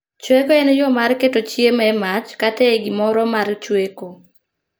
Chweko en yoo mar keto chiemo e mach kata e gimoro mar chweko